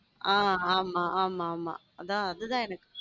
ஹம் ஆம் ஆமா ஆமா அதான் அதுதான் எனக்கு.